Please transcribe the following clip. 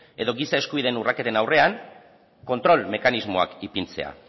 edo giza eskubideen urraketen aurrean kontrol mekanismoak ipintzea